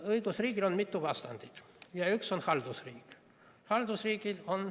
Õigusriigil on mitu vastandit ja üks neist on haldusriik.